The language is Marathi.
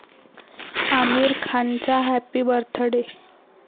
आमिर खानचा हॅपी बर्थ डे